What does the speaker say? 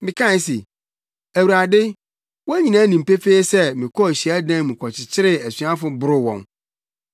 “Mekae se, ‘Awurade, wɔn nyinaa nim pefee sɛ mekɔɔ hyiadan mu kɔkyekyeree asuafo boroo wɔn.